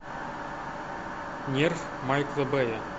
нерв майкла бэя